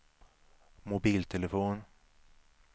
mobiltelefon